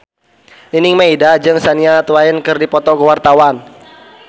Nining Meida jeung Shania Twain keur dipoto ku wartawan